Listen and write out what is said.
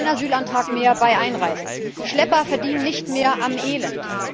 Kein Asylantrag mehr bei Einreise. Schlepper verdienen nicht mehr am Elend.